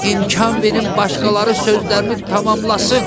İmkan verin başqaları sözlərini tamamlasın.